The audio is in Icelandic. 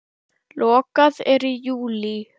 Lokað er í júlí.